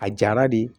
A jara de